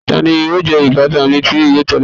Tani yóò jẹ ibatan mi ti o tẹle?